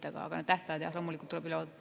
Aga jah, need tähtajad tuleb loomulikult üle vaadata.